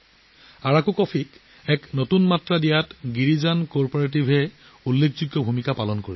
আৰাকুক কফিক নতুন মাত্ৰা প্ৰদান কৰাত গিৰিজান সমবায়ৱে ডাঙৰ ভূমিকা পালন কৰিছে